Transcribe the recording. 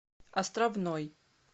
островной